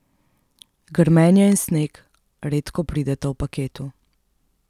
Grmenje in sneg redko prideta v paketu.